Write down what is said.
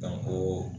ko